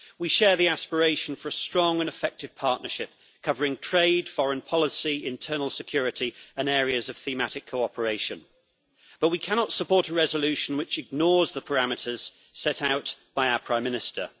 We share the aspiration for a strong and effective partnership covering trade, foreign policy, internal security and areas of thematic cooperation, but we cannot support a resolution which ignores the parameters set out by our Prime Minister.